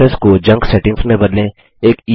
preferences को junk settings में बदलें